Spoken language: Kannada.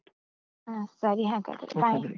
ಅಹ್ ಸರಿ ಹಾಗಾದ್ರೆ, bye ..